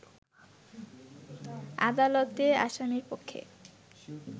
আদালতে আসামিপক্ষে